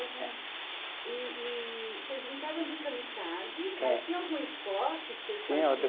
E e vocês brincavam de kamikaze. É. Mas tinha algum esporte que vocês